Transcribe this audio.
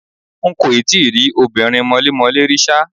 N kò tí ì rí obìnrin mọlémọlẹ́ rí ṣá.